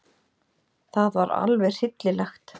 Það var alveg hryllilegt.